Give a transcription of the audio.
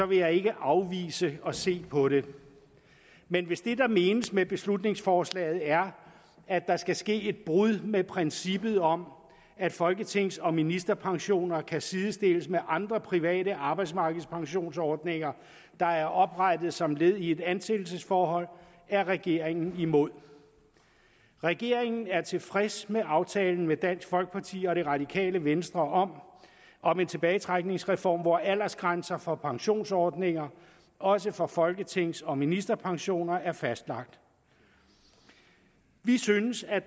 vil jeg ikke afvise at se på det men hvis det der menes med beslutningsforslaget er at der skal ske et brud med princippet om at folketings og ministerpensioner kan sidestilles med andre private arbejdsmarkedspensionsordninger der er oprettet som led i et ansættelsesforhold er regeringen imod regeringen er tilfreds med aftalen med dansk folkeparti og det radikale venstre om om en tilbagetrækningsreform hvor aldersgrænser for pensionsordninger også for folketings og ministerpensioner er fastlagt vi synes at